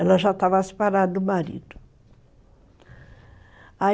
Ela já estava separada do marido.